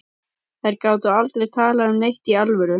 Þær gátu aldrei talað um neitt í alvöru.